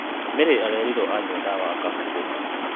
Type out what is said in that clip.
Mary arerirwo anywa ndawa akahurũka